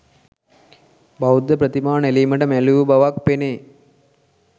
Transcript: බෞද්ධ ප්‍රතිමා නෙළීමට මැලි වූ බවක් පෙනේ.